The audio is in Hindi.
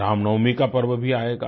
रामनवमीं का पर्व भी आएगा